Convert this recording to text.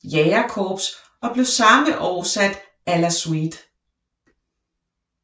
Jægerkorps og blev samme år sat à la suite